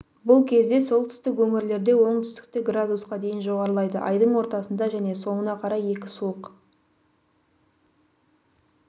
бұл кезде солтүстік өңірлерде оңтүстікте градусқа дейін жоғарылайды айдың ортасында және соңына қарай екі суық